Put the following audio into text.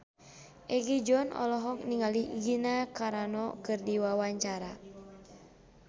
Egi John olohok ningali Gina Carano keur diwawancara